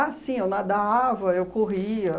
sim, eu nadava, eu corria.